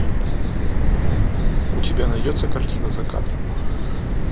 у тебя найдется картина за кадром